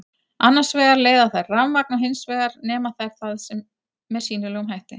Annars vegar leiða þær rafmagn og hins vegar nema þær það með sýnilegum hætti.